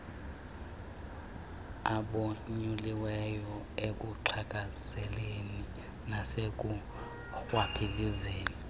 abonyuliweyo ekuxhaphazeni nasekurhwaphilizeni